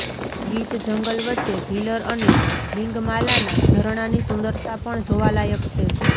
ગીચ જંગલ વચ્ચે ભીલર અને લિંગમાલાના ઝરણાની સુંદરતા પણ જોવા લાયક છે